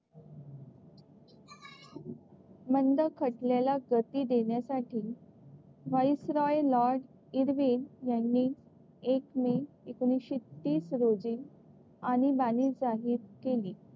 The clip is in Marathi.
मंद खटल्याला गती देण्यासाठी, व्हाइसरॉय लॉर्ड इर्विन यांनी एक मे एकोणीसशे तीस रोजी आणीबाणी जाहीर केली.